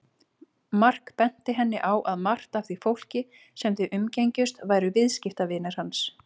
Mark benti henni á að margt af því fólki sem þau umgengjust væru viðskiptavinir hans.